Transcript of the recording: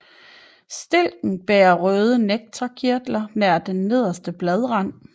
Stilken bærer røde nektarkirtler nær den nederste bladrand